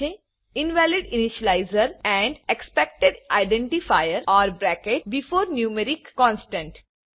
invalid initializer and expected identifier or bracket before numeric constant